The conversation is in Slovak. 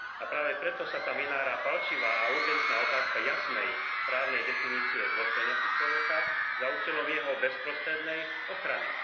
A práve preto sa tam vynára pálčivá a urgentná otázka jasnej, právnej definície dôstojnosti človeka za účelom jeho bezprostrednej ochrany.